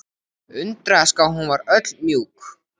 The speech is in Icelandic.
Undraðist hvað hún var öll mjúk.